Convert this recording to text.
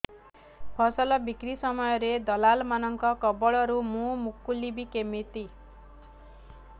ଫସଲ ବିକ୍ରୀ ସମୟରେ ଦଲାଲ୍ ମାନଙ୍କ କବଳରୁ ମୁଁ ମୁକୁଳିଵି କେମିତି